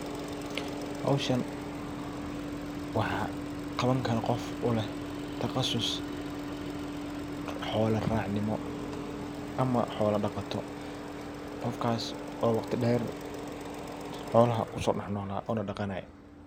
Howshan waa qaban karo qof u leh taqasus. xola racnimo ama xolo dhaqato qofkas oo waqti dheer xolaha kusoo dhax nola ona dhaqanaye.